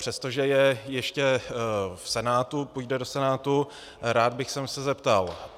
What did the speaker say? Přestože je ještě v Senátu, půjde do Senátu, rád bych se zeptal.